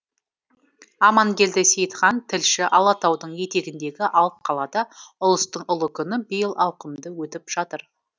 амангелді сейітхан тілші алатаудың етегіндегі алып қалада ұлыстың ұлы күні биыл ауқымды өтіп жатыр